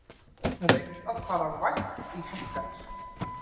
Reynt að fara vægt í hækkanir